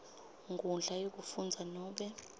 nkhundla yekufundza nobe